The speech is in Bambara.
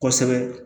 Kosɛbɛ